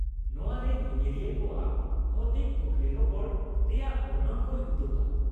ᱱᱚᱶᱟ ᱨᱮ ᱧᱮᱧᱮᱞᱤᱭᱟ. ᱠᱚᱣᱟᱜ ᱵᱷᱳᱣᱛᱤᱠ ᱠᱩᱠᱞᱤᱨᱚᱯᱚᱲ ᱨᱮᱭᱟᱜ ᱵᱚᱨᱱᱚᱱ ᱠᱚᱭ ᱩᱫᱩᱜᱟ ᱾